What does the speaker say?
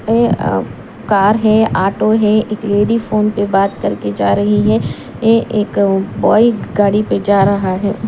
ए अ कार है ऑटो है एक लेडी फोन पे बात करके जा रही है ये एक बॉय गाड़ी पे जा रहा है।